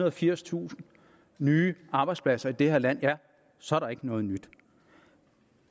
og firstusind nye arbejdspladser i det her land ja så er der ikke noget nyt